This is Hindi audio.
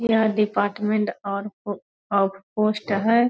यह डिपार्टमेंट और पोस्ट है।